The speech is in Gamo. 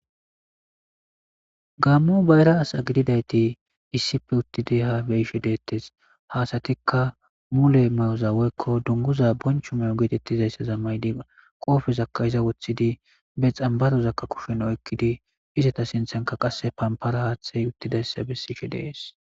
Gaammo bayra asa gididayti haa beyishe deettees,ha asatikka mule mayoza woykko dunguza bonchcho mayoza mayidi qoobezakka woththidi be xamborozakka kushen oykkidi izeta sinthanikka pampara haaththey uttidayssa bessees.